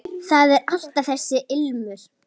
Það er alltaf þessi ilmur.